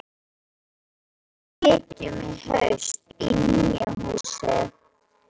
Já, en við flytjum í haust í nýja húsið.